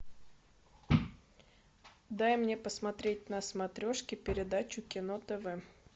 дай мне посмотреть на смотрешке передачу кино тв